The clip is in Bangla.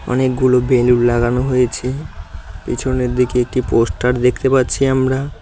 অনেকগুলো বেলুন লাগানো হয়েছে পেছনের দিকে একটি পোস্টার দেখতে পারছি আমরা।